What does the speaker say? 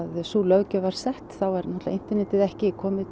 sú löggjöf var sett þá var internetið ekki komið